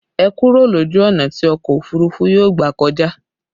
Ẹ kúrò lójú ọ̀nà tí ọkọ òfurufú yóò gbà kọjá!